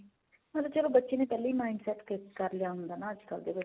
ਮਤਲਬ ਚਲੋ ਬੱਚੇ ਨੇ ਪਹਿਲਾਂ ਹੀ mind set ਕਰ ਲਿਆ ਹੁੰਦਾ ਨਾ ਅੱਜਕੱਲ ਤੇ